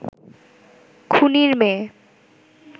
খুনির মেয়ে